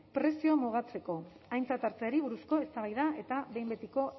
prezioa mugatzeko aintzat hartzeari buruzko eztabaida eta behin betiko